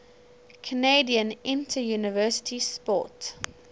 canadian interuniversity sport